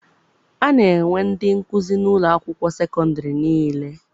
A na-enwe ndị nkụzi n'ụlọ akwụkwọ sekọndịrị niile.